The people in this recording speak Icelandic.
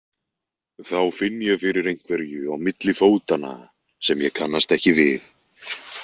Þá finn ég fyrir einhverju á milli fótanna sem ég kannast ekki við.